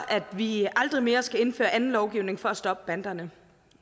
at vi aldrig mere skal indføre anden lovgivning for at stoppe banderne